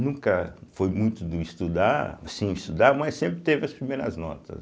Nunca foi muito de estudar, assim estudar, mas sempre teve as primeiras notas.